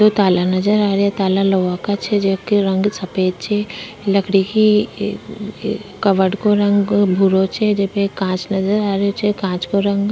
दो ताला नजर आ रहे है ताला लोहा का छे जेके रंग सफ़ेद छे लकड़ी की कबाड़ को रंग भूरो छे जेमे कांच नजर आ रहे छे कांच को रंग --